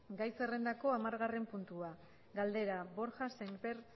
gai zerrendako hamargarren puntua galdera borja sémper